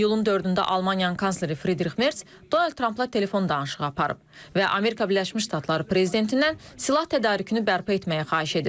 İyulun 4-də Almaniyanın kansleri Fridrix Mers, Donald Trampla telefon danışığı aparıb və Amerika Birləşmiş Ştatları prezidentindən silah tədarükünü bərpa etməyi xahiş edib.